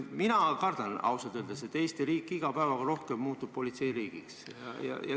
Mina kardan ausalt öeldes, et Eesti riik muutub iga päevaga rohkem politseiriigiks.